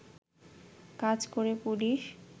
কাজ করে পুলিশ